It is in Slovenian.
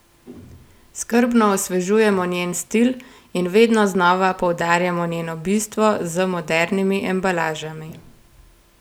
Skrbno osvežujemo njen stil in vedno znova poudarjamo njeno bistvo z modernimi embalažami.